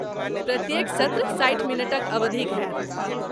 प्रत्येक सत्र साठि मिनटक अवधिक होयत।